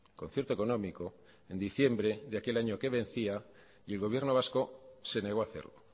concierto económico en diciembre de aquel año que vencía y el gobierno vasco se negó a hacerlo